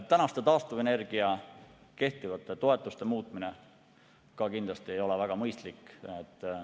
Taastuvenergia kehtivate toetuste muutmine ei ole kindlasti ka väga mõistlik.